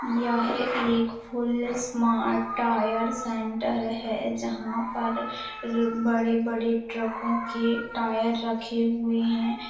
यह एक full smart tyre centre है जहाँ पर बड़े-बड़े ट्रको के टायर रखे हुए हैं।